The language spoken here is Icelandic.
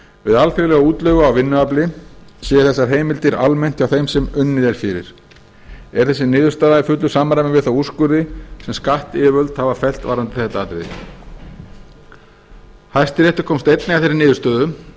við alþjóðlega útleigu á vinnuafli séu þessar heimildir almennt hjá þeim sem unnið er fyrir er þessi niðurstaða í fullu samræmi við þá úrskurði sem skattyfirvöld hafa fellt varðandi þetta atriði hæstiréttur komst einnig að þeirri niðurstöðu að